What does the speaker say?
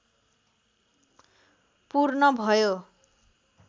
पूर्ण भयो